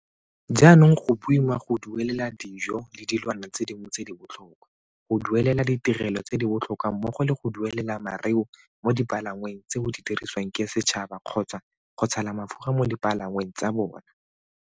Jaanong go boima go duelela dijo le dilwana dingwe tse di botlhokwa, go duelela ditirelo tse di botlhokwa mmogo le go duelela mareu mo dipalangweng tseo di dirisiwang ke setšhaba kgotsa go tshela mafura mo dipalangweng tsa bona.